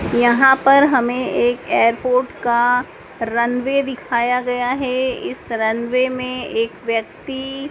यहां पर हमें एक एयरपोर्ट का रनवे दिखाया गया है इस रनवे में एक व्यक्ति--